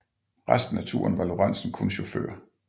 Resten af turen var Lorenzen kun chauffør